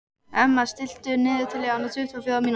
Emma, stilltu niðurteljara á tuttugu og fjórar mínútur.